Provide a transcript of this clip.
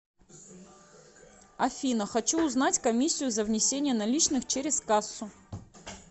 афина хочу узнать комиссию за внесение наличных через кассу